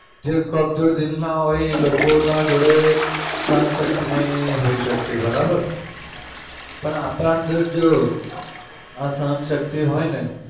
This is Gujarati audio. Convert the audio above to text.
જે કમજોર દિલના હોય ઇ લોકોના જોડે સહનશક્તિ નઈ હોઈ શકતી બરાબર. પણ આપડા અંદર જો આ સહન શક્તિ હોય ને